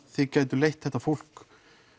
þið gætuð leitt þetta fólk